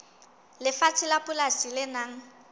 lefatshe la polasi le nang